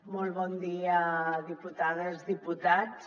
molt bon dia diputades diputats